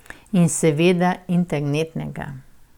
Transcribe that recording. In seveda internetnega.